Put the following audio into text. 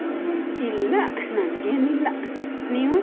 ಇಲ್ಲ ನನ್ಗೇನಿಲ್ಲ. ನೀವು?